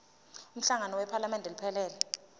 umhlangano wephalamende iphelele